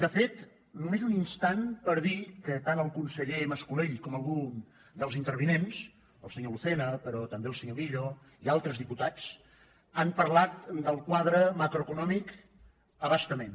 de fet només un instant per dir que tant el conseller mas·colell com algun dels intervinents el senyor lucena però també el senyor millo i altres diputats han parlat del quadre macroeconòmic a bastament